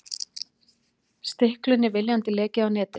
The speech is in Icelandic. Stiklunni viljandi lekið á netið